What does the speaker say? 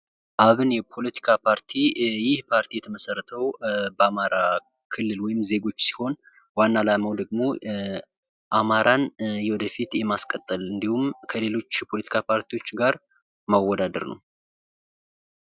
አብን የፖለቲካ ፓርቲ ይህ ፓርቲ የተመሰረተው በአማራ ክልል ወይም ዜጎች ሲሆን ዋና አላማውም ደግሞ አማረን ወደፊት የማስቀጠል እንዲሁም ከሌሎች ከሌሎች የፖለቲካ ፓርቲዎች ጋር መወዳደር ነው።